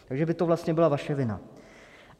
Takže by to vlastně byla vaše vina.